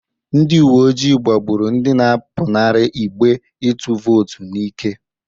Ndị uwe ojii gbagbụrụ ndị na-apụnara igbe ịtụ vootu n'ike.